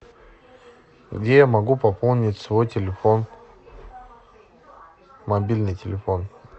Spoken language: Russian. где я могу пополнить свой телефон мобильный телефон